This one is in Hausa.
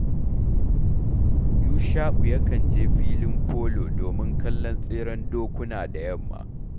Yusha’u yakan je filin folo domin kallon tseren dokuna da yamma